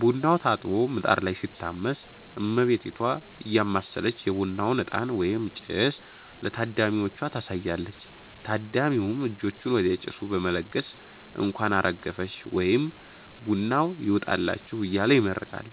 ቡናው ታጥቦ ምጣድ ላይ ሲታመስ፣ እመቤቲቷ እያማሰለች የቡናውን እጣን (ጭስ) ለታዳሚዎቹ ታሳያለች። ታዳሚውም እጆቹን ወደ ጭሱ በመለገስ "እንኳን አረገፈሽ" ወይም "ቡናው ይውጣላችሁ" እያለ ይመርቃል።